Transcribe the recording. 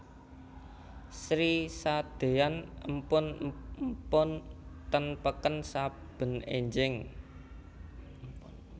Sri sadeyan empon empon teng peken saben enjing